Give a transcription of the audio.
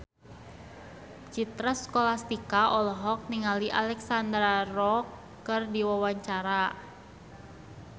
Citra Scholastika olohok ningali Alexandra Roach keur diwawancara